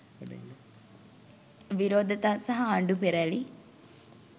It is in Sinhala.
විරෝධතා සහ ආණ්ඩු පෙරැළි